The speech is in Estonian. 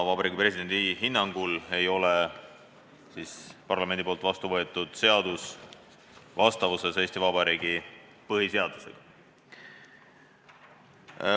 Vabariigi Presidendi hinnangul ei ole parlamendis vastu võetud seadus vastavuses Eesti Vabariigi põhiseadusega.